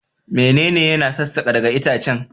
Menene yana sassaka daga itacen?